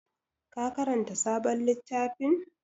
Ka karanta sabon littafin?